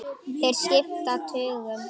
Þeir skipta tugum.